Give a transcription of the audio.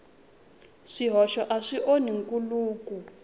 swihoxo a swi onhi nkhuluko